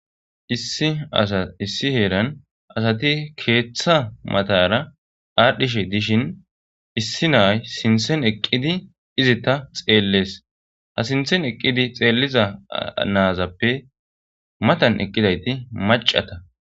issi asa issi heeran asati keeththa matara aadhdhishe dishin issi na'ay sinthen eqqidi izitta xeellees ha sinthen eqqidi xeelliza naazappe matan eqqidayti macata